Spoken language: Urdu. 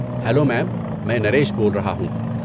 Hello ma'am. میں نریش بول رہا ہوں۔